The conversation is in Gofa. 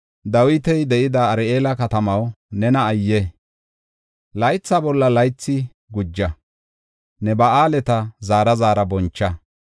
Dawiti de7ida Ar7eela katamaw nena ayye! Laytha bolla laythi guja; ne ba7aaleta zaara zaara boncha.